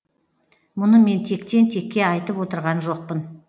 мұны мен тектен текке айтып отырған жоқпын